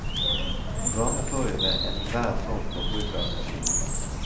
Varme får vi ved enhver form for bruk av energi.